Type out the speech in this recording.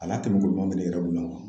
Al'a kɛ bɛ k'o kuma